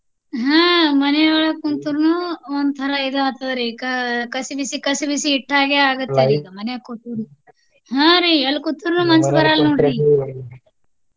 ಆಹ್ ಮನಿಯೊಳಗ ಕುಂತ್ರುನು ಒಂದು ತರಾ ಇದು ಆಗ್ತದ ರಿ ಏಕ ಕಸಿಬಿಸಿ ಕಸಿಬಿಸಿ ಇಟ್ಟ ಹಾಗೆ ಆಗುತ್ತೇರಿ ಮನ್ಯಾಗ ಕೂತರು. ಹಾ ರಿ ಎಲ್ಲಿ ಕುತ್ರುನು ಮನ್ಸ ಬರಲ್ಲ ನೋಡ್ರಿ